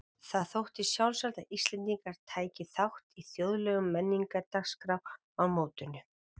Það þótti sjálfsagt að Íslendingar tækju þátt í þjóðlegum menningardagskrám á mótinu.